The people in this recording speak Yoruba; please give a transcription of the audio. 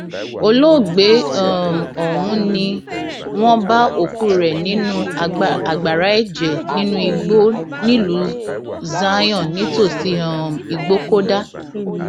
olóògbé um ọhún ni wọn bá òkú rẹ nínú agbára ẹjẹ nínú igbó nílùú zion nítòsí um ìgbókódá